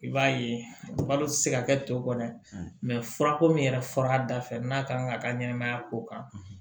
I b'a ye balo tɛ se ka kɛ to kɔ dɛ furako min yɛrɛ fɔra a da fɛ n'a ka kan ka ka ɲɛnɛmaya ko kan